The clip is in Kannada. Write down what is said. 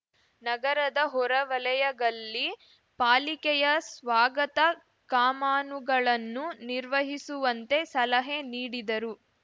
ನಗರದ ಹೊರವಲಯಗಲ್ಲಿ ಪಾಲಿಕೆಯ ಸ್ವಾಗತ ಕಾಮಾನುಗಳನ್ನು ನಿರ್ವಹಿಸುವಂತೆ ಸಲಹೆ ನೀಡಿದರು